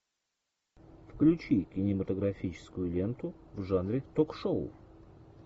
включи кинематографическую ленту в жанре ток шоу